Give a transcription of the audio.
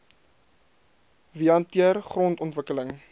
wie hanteer grondontwikkeling